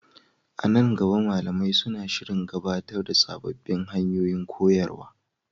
A nan gaba, malamai suna shirin gabatar da sabbin hanyoyin koyarwa.